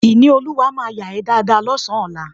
Ìníolúwa máa yà ẹ́ dáadáa lọ́sàn-án ọlá